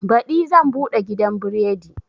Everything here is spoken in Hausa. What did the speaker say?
Baɗi zan buɗe gidan biredi